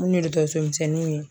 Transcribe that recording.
Munnu ye dɔkɔtɔrɔso misɛnnuw ye